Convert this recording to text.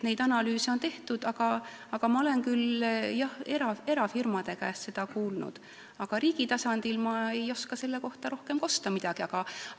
Neid analüüse on tehtud, ma olen erafirmade käest seda kuulnud, aga riigi tasandi kohta ei oska ma rohkem midagi kosta.